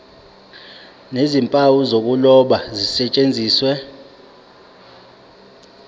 nezimpawu zokuloba zisetshenziswe